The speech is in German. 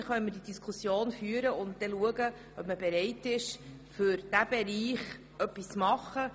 Dann können wir sehen, ob man bereit ist, in diesem Bereich etwas zu unternehmen.